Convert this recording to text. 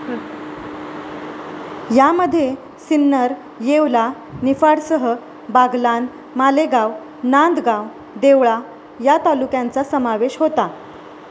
यामध्ये सिन्नर, येवला, निफाडसह बागलाण, मालेगाव, नांदगाव, देवळा या तालुक्यांचा समावेश होता.